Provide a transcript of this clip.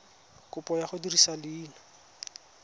kopo ya go dirisa leina